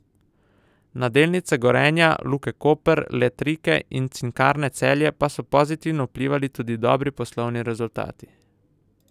Na delnice Gorenja, Luke Koper, Letrike in Cinkarne Celje pa so pozitivno vplivali tudi dobri poslovni rezultati.